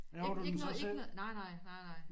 Ikke ikke noget ikke noget nej nej nej nej